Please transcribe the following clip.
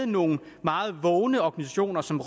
nogle meget vågne organisationer som